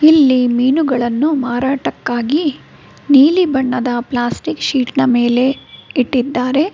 ಇಲ್ಲಿ ಮೀನುಗಳನ್ನು ಮಾರಾಟಕ್ಕಾಗಿ ನೀಲಿ ಬಣ್ಣದ ಪ್ಲಾಸ್ಟಿಕ್ ಶೀಟ್ ನ ಮೇಲೆ ಇಟ್ಟಿದ್ದಾರೆ.